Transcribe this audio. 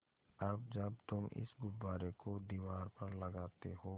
अब जब तुम इस गुब्बारे को दीवार पर लगाते हो